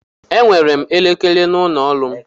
Enwere m elekere n'ụlọ ọrụ m.